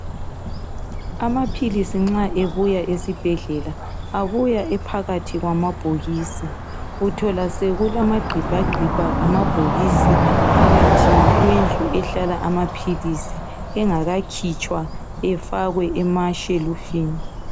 Amaphilisi nxa ebuya esibhedlela abuya ephakathi kwamabhokisi uthola sokulamagqibhagqibha amabhokisi phakathi kwendlu ehlala amaphilisi engakakhitshwa efakwe emashelufini.